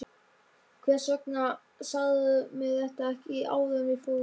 Hvers vegna sagðirðu mér þetta ekki áður en við fórum?